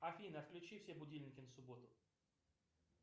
афина отключи все будильники на субботу